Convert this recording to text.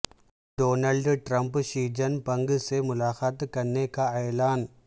Donald Trump Xi Jinping سے ملاقات کرنے کا اعلان